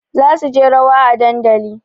Za su je rawa a dandali